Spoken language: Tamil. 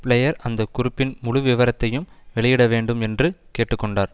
பிளேயர் அந்த குறிப்பின் முழு விவரத்தையும் வெளியிட வேண்டும் என்று கேட்டு கொண்டார்